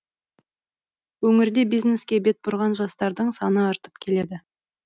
өңірде бизнеске бет бұрған жастардың саны артып келеді